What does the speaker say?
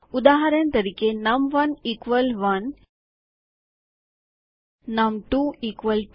ઉદાહરણ તરીકે નમ1 1 નમ2 2